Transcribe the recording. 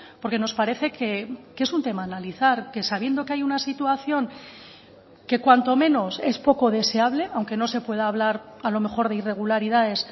porque nos parece que es un tema a analizar que sabiendo que hay una situación que cuanto menos es poco deseable aunque no se pueda hablar a lo mejor de irregularidades